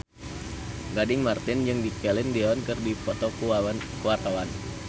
Gading Marten jeung Celine Dion keur dipoto ku wartawan